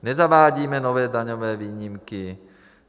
Nezavádíme nové daňové výjimky.